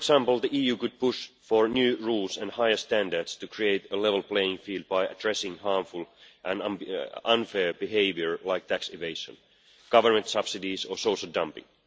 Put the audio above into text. this. For example, the EU could push for new rules and higher standards to create a level playing field by addressing harmful and unfair behaviour such as tax evasion, government subsidies or social dumping.